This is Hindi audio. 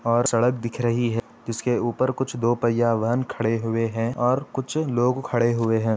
और सड़क दिख रही है जिसके ऊपर दो पहिया वाहन खड़े हुए हैं और कुछ लोग खड़े हुए हैं।